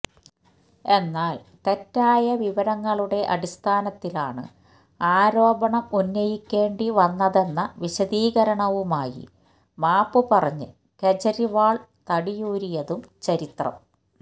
എന്നാൽ തെറ്റായ വിവരങ്ങളുടെ അടിസ്ഥനത്തിലാണ് ആരോപണം ഉന്നയിക്കേണ്ടി വന്നതെന്ന വിശദീകരണവുമായി മാപ്പ് പറഞ്ഞ് കേജ്രിവാൾ തടിയൂരിയതും ചരിത്രം